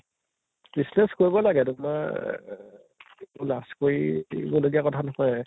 business কৰিব লাগে তোমাৰ অহ লাজ কৰিব লগিয়া কথা নহয়